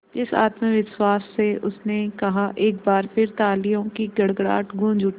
जिस आत्मविश्वास से उसने कहा एक बार फिर तालियों की गड़गड़ाहट गूंज उठी